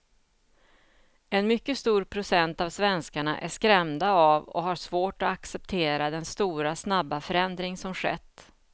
En mycket stor procent av svenskarna är skrämda av och har svårt att acceptera den stora och snabba förändring som skett.